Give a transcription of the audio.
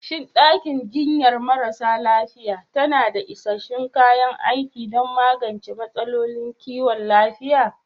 Shin ɗakin jinyar marasa lafiya tana da isassun kayan aiki don magance matsalolin kiwon lafiya?